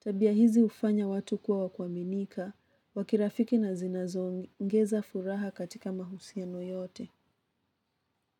Tabia hizi hufanya watu kuwa wa kuaminika, kwa kirafiki na zinazo ongengeza furaha katika mahusiano yote.